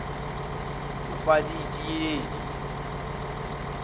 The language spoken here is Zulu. upalitiyeli